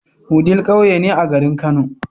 wudil ƙauye ne a garin kano